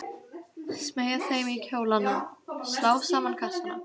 Smeygja þeim í kjólana, slá saman kassana.